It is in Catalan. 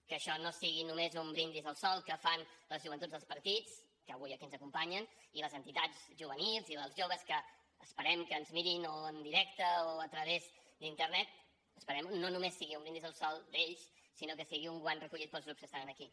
que això no sigui només un brindis al sol que fan les joventuts dels partits que avui aquí ens acompanyen i les entitats juvenils i els joves que esperem que ens mirin o en directe o a través d’internet esperem que no només sigui un brindis al sol d’ells sinó que sigui un guant recollit pels grups que estan aquí